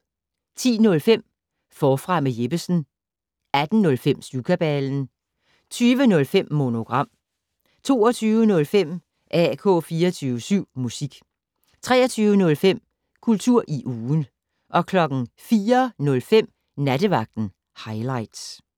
10:05: Forfra med Jeppesen 18:05: Syvkabalen 20:05: Monogram 22:05: AK 24syv Musik 23:05: Kultur i ugen 04:05: Nattevagten Highligts